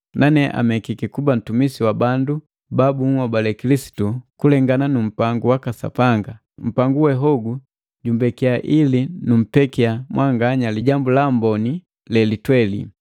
Nane amekiki kuba mtumisi wa bandu ba bunhobale Kilisitu kulengana nu mpangu waka Sapanga, mpangu we hogu jambekiya ili numpekiya mwanganya Lijambu la Amboni lelitweli.